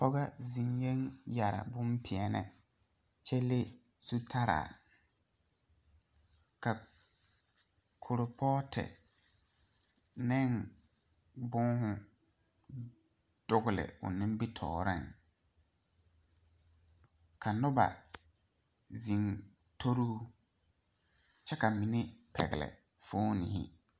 Kɔge zeŋɛɛ la a yɛre bonpelaa kyɛ leŋ zutaraa ka kuripootu ne boma dogle o nimitɔɔreŋ ka noba zeŋ tori o kyɛ ka mine pɛgle foomo.